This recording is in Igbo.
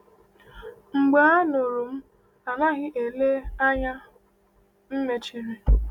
Mgbe Anụrụ M Anaghị Ele, Anya M Mechiri!